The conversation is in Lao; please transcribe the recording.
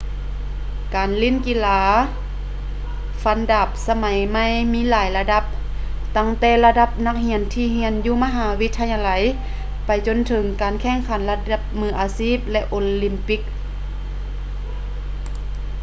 ການຫຼິ້ນກິລາຟັນດາບສະໄໝໃໝ່ມີຫຼາຍລະດັບ ຕັ້ງແຕ່ລະດັບນັກຮຽນທີ່ຮຽນຢູ່ມະຫາວິທະຍາໄລໄປຈົນເຖິງການແຂ່ງຂັນລະດັບມືອາຊີບ ແລະ ໂອລິມປິກ